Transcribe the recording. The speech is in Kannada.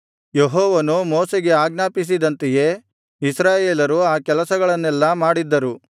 ಯೆಹೋವನು ಮೋಶೆಗೆ ಆಜ್ಞಾಪಿಸಿದ್ದಂತೆಯೇ ಇಸ್ರಾಯೇಲರು ಆ ಕೆಲಸಗಳನ್ನೆಲ್ಲಾ ಮಾಡಿದ್ದರು